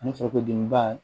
Ani farisogodimiba